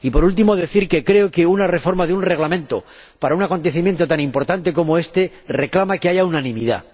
Por último, quiero decir que creo que una reforma de un reglamento para un acontecimiento tan importante como éste reclama que haya unanimidad.